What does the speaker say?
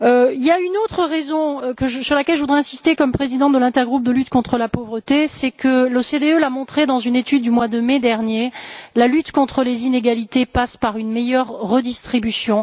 Il y a un autre point sur lequel je voudrais insister, en tant que présidente de l'intergroupe de lutte contre la pauvreté, c'est que l'OCDE l'a montré dans une étude du mois de mai dernier la lutte contre les inégalités passe par une meilleure redistribution.